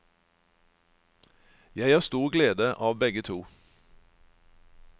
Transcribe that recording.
Jeg har stor glede av begge to.